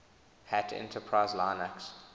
hat enterprise linux